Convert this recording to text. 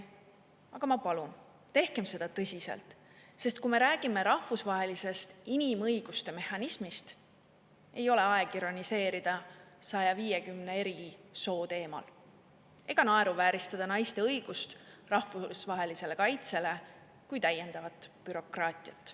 Aga ma palun: tehke seda tõsiselt, sest kui me räägime rahvusvahelisest inimõiguste mehhanismist, ei ole aeg ironiseerida 150 eri soo teemal ega naeruvääristada naiste õigust rahvusvahelisele kaitsele kui täiendavat bürokraatiat.